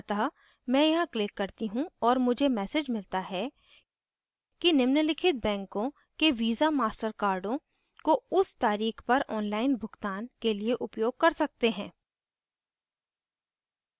अतः मैं यहाँ click करती हूँ और मुझे message मिलता है कि निम्नलिखित banks के visa/master cards को उस तारीख पर online भुगतान के लिए उपयोग कर सकते हैं